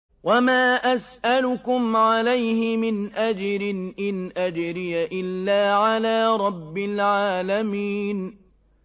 وَمَا أَسْأَلُكُمْ عَلَيْهِ مِنْ أَجْرٍ ۖ إِنْ أَجْرِيَ إِلَّا عَلَىٰ رَبِّ الْعَالَمِينَ